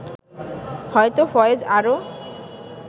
হয়তো ফয়েজ আরও